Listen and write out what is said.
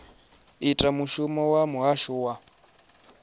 ita mushumo wa muhasho wa